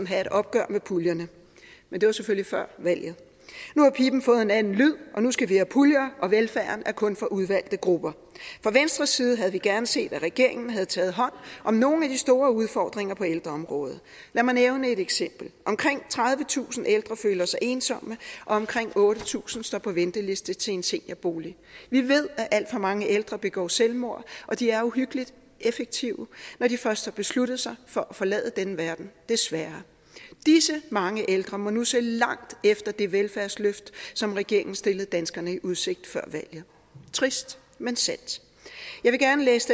have et opgør med puljerne men det var selvfølgelig før valget nu har piben fået en anden lyd og nu skal vi have puljer og velfærden er kun for udvalgte grupper fra venstres side havde vi gerne set at regeringen havde taget hånd om nogle af de store udfordringer på ældreområdet lad mig nævne et eksempel omkring tredivetusind ældre føler sig ensomme og omkring otte tusind står på venteliste til en seniorbolig vi ved at alt for mange ældre begår selvmord og de er uhyggeligt effektive når de først har besluttet sig for at forlade denne verden desværre disse mange ældre må nu se langt efter det velfærdsløft som regeringen stillede danskerne i udsigt før valget trist men sandt jeg vil gerne læse